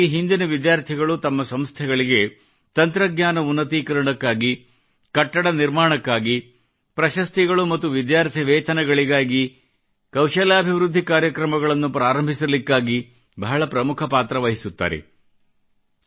ಸಾಮಾನ್ಯವಾಗಿ ಪೂರ್ವ ವಿದ್ಯಾರ್ಥಿಗಳು ತಮ್ಮ ಸಂಸ್ಥೆಗಳಿಗೆ ತಂತ್ರಜ್ಞಾನ ಉನ್ನತೀಕರಣಕ್ಕಾಗಿ ಕಟ್ಟಡ ನಿರ್ಮಿಸಲು ಪ್ರಶಸ್ತಿಗಳು ಮತ್ತು ವಿದ್ಯಾರ್ಥಿ ವೇತನಗಳನ್ನು ನೀಡಲು ಕೌಶಲಾಭಿವೃದ್ಧಿ ಕಾರ್ಯಕ್ರಮಗಳನ್ನು ಪ್ರಾರಂಭಿಸಲು ಬಹಳ ಪ್ರಮುಖ ಪಾತ್ರವಹಿಸುತ್ತವೆ